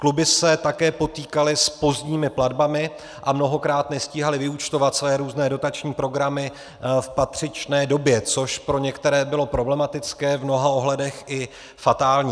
Kluby se také potýkaly s pozdními platbami a mnohokrát nestíhaly vyúčtovat své různé dotační programy v patřičné době, což pro některé bylo problematické, v mnoha ohledech i fatální.